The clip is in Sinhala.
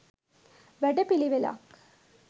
වැඩ පිළිවෙළක්